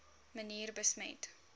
manier besmet